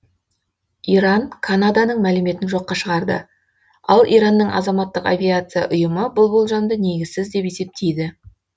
иран канаданың мәліметін жоққа шығарды ал иранның азаматтық авиация ұйымы бұл болжамды негізсіз деп есептейді